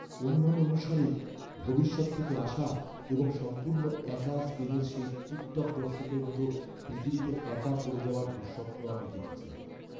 অনুমান অনুসারে ভবিষ্যৎ থেকে আসা এবং সম্পূর্ণ একা স্পেনের সেই টিকটক দর্শকের মতো পৃথিবীতে একা পড়ে যাওয়ার দুঃস্বপ্ন আমি দেখেছি।